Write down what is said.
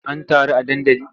An taru a dandali?